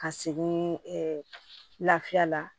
Ka segin ɛɛ lafiya la